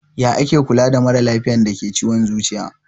Ya ake Kula da maralafiyan dake da ciwon zuciya?